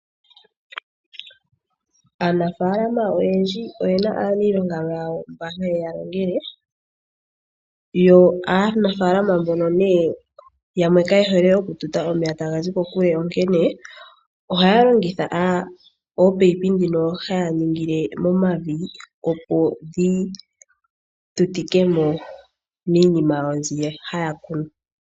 Aanafalama oyendji oye na aanilonga yawo mba haye ya longele. Yo aanafalama mbono yamwe kaye hole okututa omeya taga zi kokule, onkene ohaya longitha ominino ndhono haya ningile momavi, opo dhi tutike mo miinima yawo mbi haya kunu.